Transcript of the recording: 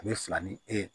A bɛ fila ni e ye